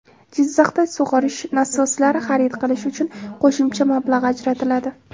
Jizzaxda sug‘orish nasoslari xarid qilish uchun qo‘shimcha mablag‘ ajratiladi.